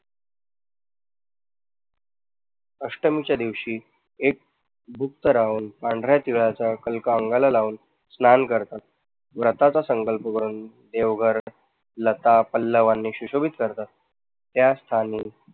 अष्टमीच्या दिवशी लाऊन पांढऱ्या तिळाचा कल्क अंगाला लाऊन स्नान करतात. व्रताचा संकल्प करून देवघर लता, पल्लावांनी सुशोभित करतात त्या स्थानी